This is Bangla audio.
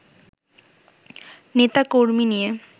নেতা-কর্মী নিয়ে